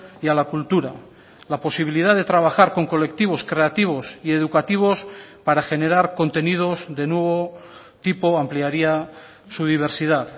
y a la cultura la posibilidad de trabajar con colectivos creativos y educativos para generar contenidos de nuevo tipo ampliaría su diversidad